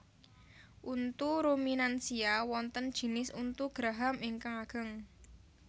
Untu ruminansia wonten jinis untu geraham ingkang ageng